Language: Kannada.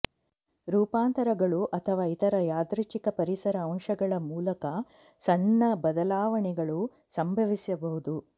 ರೂಪಾಂತರಗಳು ಅಥವಾ ಇತರ ಯಾದೃಚ್ಛಿಕ ಪರಿಸರ ಅಂಶಗಳ ಮೂಲಕ ಸಣ್ಣ ಬದಲಾವಣೆಗಳು ಸಂಭವಿಸಬಹುದು